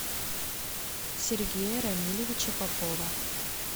сергея рамилевича попова